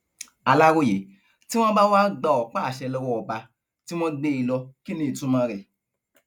aláròye tí wọn bá wá gba ọpáàṣẹ lọwọ ọba tí wọn gbé e lọ kí ní ìtumọ rẹ